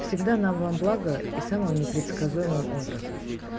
всегда нам во благо и самым непредсказуемым образом